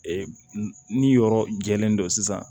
Ee ni yɔrɔ jɛlen don sisan